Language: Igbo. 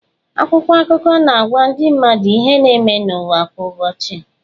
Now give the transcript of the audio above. Akwụkwọ akụkọ na-agwa ndị mmadụ ihe na-eme n’ụwa kwa ụbọchị.